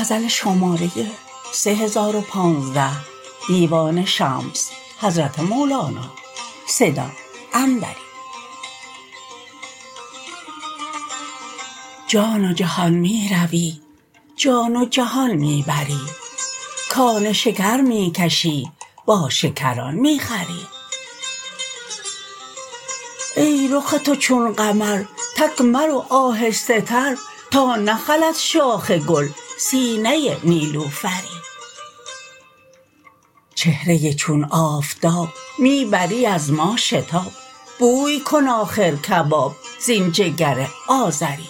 جان و جهان می روی جان و جهان می بری کان شکر می کشی با شکران می خوری ای رخ تو چون قمر تک مرو آهسته تر تا نخلد شاخ گل سینه نیلوفری چهره چون آفتاب می بری از ما شتاب بوی کن آخر کباب زین جگر آذری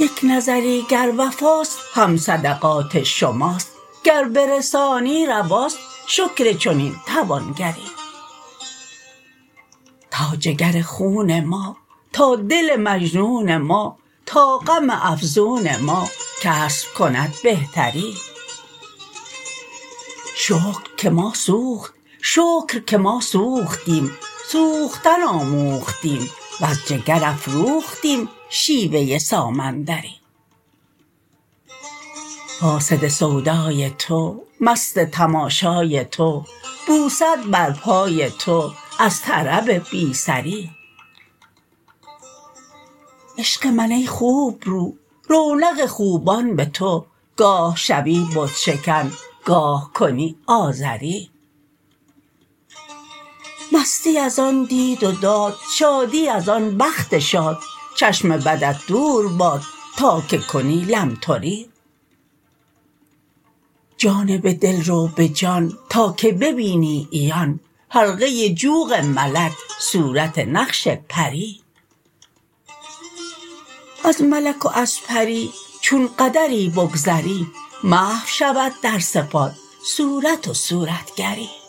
یک نظری گر وفاست هم صدقات شماست گر برسانی رواست شکر چنین توانگری تا جگر خون ما تا دل مجنون ما تا غم افزون ما کسب کند بهتری شکر که ما سوختیم سوختن آموختیم وز جگر افروختیم شیوه سامندری فاسد سودای تو مست تماشای تو بوسد بر پای تو از طرب بی سری عشق من ای خوبرو رونق خوبان به تو گاه شوی بت شکن گاه کنی آزری مستی از آن دید و داد شادی از آن بخت شاد چشم بدت دور باد تا که کنی لمتری جانب دل رو به جان تا که ببینی عیان حلقه جوق ملک صورت نقش پری از ملک و از پری چون قدری بگذری محو شود در صفات صورت و صورتگری